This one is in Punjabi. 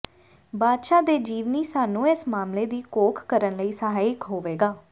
ਬਾਦਸ਼ਾਹ ਦੇ ਜੀਵਨੀ ਸਾਨੂੰ ਇਸ ਮਾਮਲੇ ਦੀ ਘੋਖ ਕਰਨ ਲਈ ਸਹਾਇਕ ਹੋਵੇਗਾ